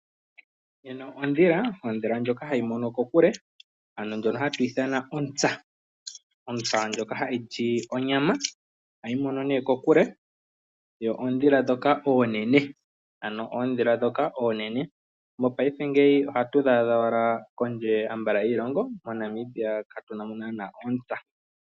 Ondhila ndjoka hayi mono kokule. Ano ndjono hayi ithanwa ontsa. Ontsa ndjoka hayi li onyama, ohayi mono nee kokule, yo ondhila ndhoka oonene. Mopaife ngeyi ohatu yi adha owala kondje yiilongo, moNamibia katu na ontsa.